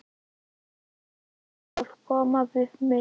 Og leyfa því að koma við mig.